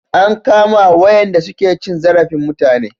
An kama wayanda su ke cin zarafin mutane